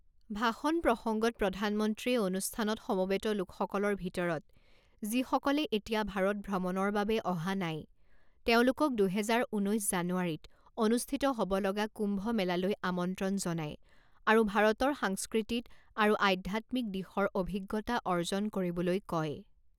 ভাষণ প্ৰসংগত প্ৰধানমন্ত্ৰীয়ে অনুষ্ঠানত সমবেত লোকসকলৰ ভিতৰত যিসকলে এতিয়া ভাৰত ভ্ৰমণৰ বাবে অহা নাই, তেওঁলোকক দুহেজাৰ ঊনৈছ জানুৱাৰীত অনুষ্ঠিত হ’ব লগা কুম্ভমেলালৈ আমন্ত্ৰণ জনায় আৰু ভাৰতৰ সাংস্কৃতিত আৰু আধ্যাত্মিক দিশৰ অভিজ্ঞতা অৰ্জন কৰিবলৈ কয়।